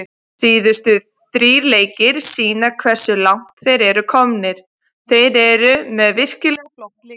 Síðustu þrír leikir sýna hversu langt þeir eru komnir, þeir eru með virkilega flott lið.